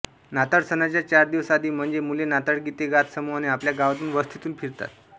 नाताळ सणाच्या चार दिवस आधी म्हणजे मुले नाताळ गीते गात समूहाने आपल्या गावातून वस्तीतून फिरतात